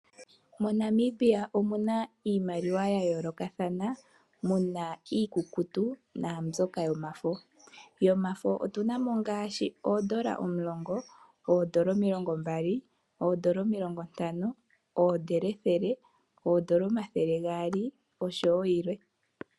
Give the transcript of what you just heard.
MoNamibia omu na iimaliwa ya yoolokathana , mu na iikukutu naambyoka yomafo. Yomafo otuna mo ngaashi oondola omulongo, oondola omilongo Mbali, oondola omilongo Ntano, oondola ethele, oondola omathele gaali oshowo yilwe.